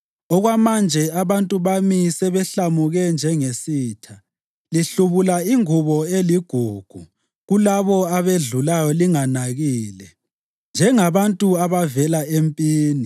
Okwamanje abantu bami sebehlamuke njengesitha. Lihlubula ingubo eligugu kulabo abedlulayo linganakile, njengabantu abavela empini.